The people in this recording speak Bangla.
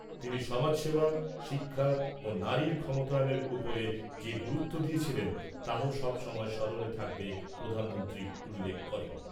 তিনি সমাজসেবা , শিক্ষা ও নারীর ক্ষমতায়নের উপর যে গুরুত্ব দিয়েছিলেন তাও সবসময় স্মরণে থাকবে প্রধানমন্ত্রী উল্লেখ করেন ।